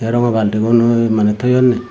tay rongo baltigun mane toyonne.